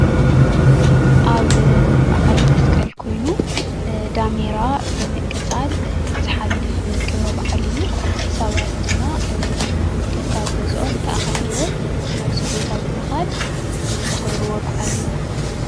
ኣብ በዓል መስቀል ኮይኑ ዳሜራ ብምቕፃል ዝሓልፍ ክበረ በዓል እዩ፡፡ ሰባት ድማ ከካብ ገዝኦም ተኣኻኺቦም ናብዚ ቦታ ብምኻድ ዘኽብርዎ በዓል እዩ፡፡